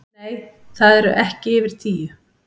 Nei, það eru ekki yfir tíu